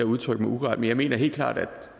udtrykte mig uklart men jeg mener helt klart at det